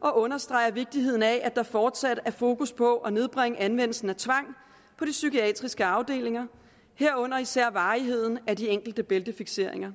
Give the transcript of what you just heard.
og understreger vigtigheden af at der fortsat er fokus på at nedbringe anvendelsen af tvang på de psykiatriske afdelinger herunder især varigheden af de enkelte bæltefikseringer